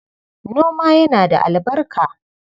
Noma yana da albarka.